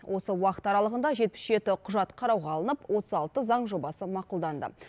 осы уақыт аралығында жетпіс жеті құжат қарауға алынып отыз алты заң жобасы мақұлданды